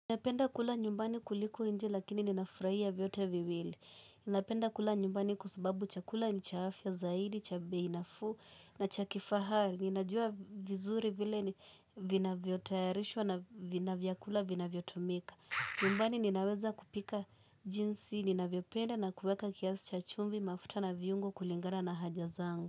Ninapenda kula nyumbani kuliko nje lakini ninafurahia vyote viwili. Ninapenda kula nyumbani kwa sababu chakula ni cha afya zaidi, cha bei nafuu na cha kifahari. Ninajua vizuri vile vinavyotayarishwa na vina vyakula vinavyotumika. Nyumbani ninaweza kupika jinsi, ninavyopenda na kuweka kiasi cha chumvi mafuta na viungo kulingana na haja zangu.